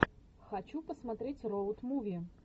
хочу посмотреть роуд муви